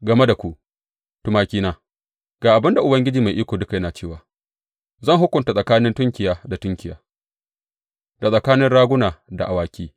Game da ku, tumakina, ga abin da Ubangiji Mai Iko Duka yana cewa zan hukunta tsakanin tunkiya da tunkiya, da tsakanin raguna da awaki.